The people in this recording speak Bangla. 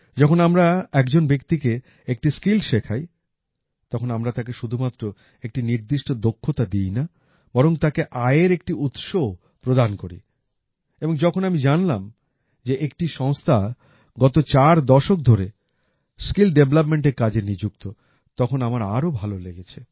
যখন আমরা একজন ব্যক্তিকে একটি স্কিল শেখাই তখন আমরা তাকে শুধুমাত্র একটি নির্দিষ্ট দক্ষতা দিই না বরং তাকে আয়ের একটি উৎসও প্রদান করি এবং যখন আমি জানলাম যে একটি সংস্থা গত চার দশক ধরে স্কিল ডেভেলপমেন্ট এর কাজে নিযুক্ত তখন আমার আরও ভালো লেগেছে